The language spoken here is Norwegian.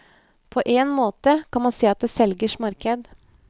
På en måte kan man si at det er selgers marked.